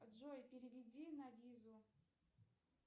джой переведи на визу